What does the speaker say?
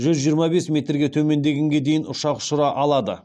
жүз жиырма бес метрге төмендегенге дейін ұшақ ұшыра алады